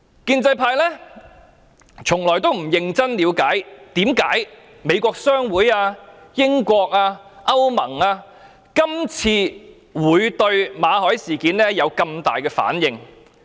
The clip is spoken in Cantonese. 建制派從來沒有認真了解為何美國商會、英國、歐盟這次會對馬凱事件有這麼大的反應。